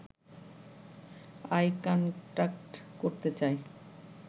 I contact করতে চাই